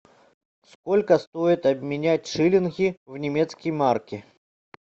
сколько стоит обменять шиллинги в немецкие марки